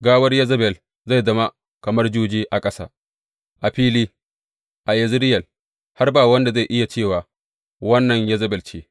Gawar Yezebel zai zama kamar juji a ƙasa, a fili, a Yezireyel, har ba wanda zai iya cewa, Wannan Yezebel ce.